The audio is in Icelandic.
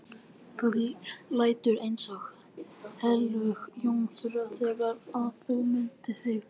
Þú lætur eins og heilög jómfrú þegar á að mynda þig, sagði hann.